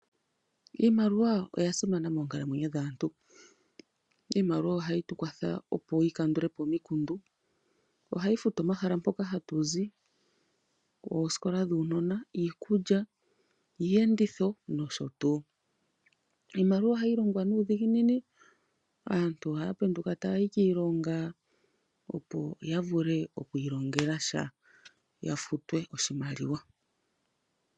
Iimaliwa oya simana moonkalamwenyo dhaantu. Iimaliwa ohayi tu kwatha yi kandule po omikundu. Ohayi futu omahala mpoka hatu zi, oosikola dhuunona, iikulya, iiyenditho nosho tuu. Iimaliwa ohayi longwa nuudhiginini. Aantu ohaya penduka taya yi kiilonga, opo ya vule oku ilongela sha ya futwe oshimaliwa.